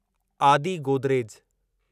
आदि गोदरेज